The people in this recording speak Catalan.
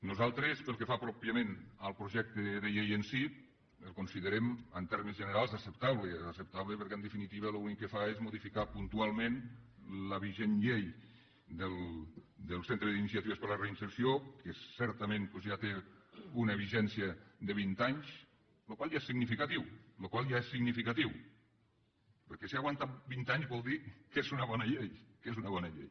nosaltres pel que fa pròpiament al projecte de llei en si el considerem en termes generals acceptable acceptable perquè en definitiva l’únic que fa és modificar puntualment la vigent llei del centre d’iniciatives per a la reinserció que certament doncs ja té una vigència de vint anys la qual cosa ja és significativa perquè si ha aguantat vint anys vol dir que és una bona llei que és una bona llei